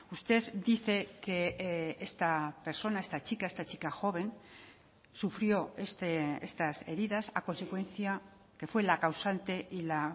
usted dice que esta persona esta chica esta chica joven sufrió estas heridas a consecuencia que fue la causante y la